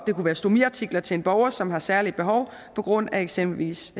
det kunne være stomiartikler til en borger som har særlige behov på grund af eksempelvis